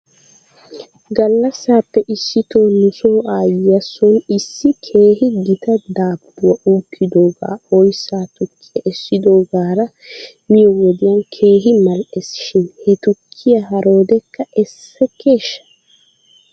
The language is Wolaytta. Gallassappe issito nuso aayyiyaa soon issi keehi gita daabbuwaa uukkidoogaa oyssa tukkiyaa essidoogaara miyoo wodiyan keehi mal''ees shin he tukkiyaa haroodekka essekeeshsha?